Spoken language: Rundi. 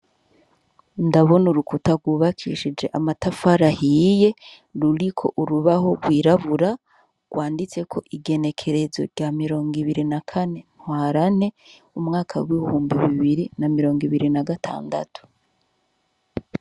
Ndabona urukuta gwubakishije amatafari ahiye ruriko urubaho rwirabura rwanditseko ingenekerezo rya mirong'ibiri na kane ntwarante umwaka w'ibihumbi bibiri na mirong'ibiri na gatandatu.